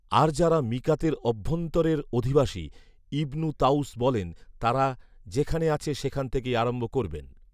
আর যারা মীকাতের অভ্যন্তরের অধিবাসী, ইবনু তাঊস বলেন, তারা যেখানে আছে সেখান থেকেই আরম্ভ করবেন